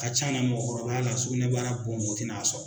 A ca a la mɔgɔkɔrɔbaya la sugunɛbara bon mɔgɔ tina a sɔrɔ.